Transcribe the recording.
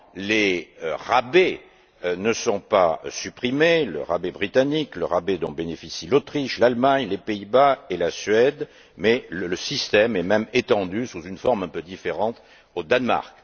les rabais ne sont pas supprimés, à savoir le rabais britannique et le rabais dont bénéficient l'Autriche, l'Allemagne, les Pays Bas et la Suède mais le système est même étendu sous une forme un peu différente au Danemark.